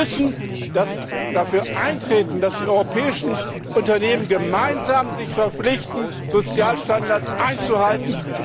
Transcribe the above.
Wir müssen dafür eintreten, dass sich die europäischen Unternehmen gemeinsam verpflichten, Sozialstandards einzuhalten.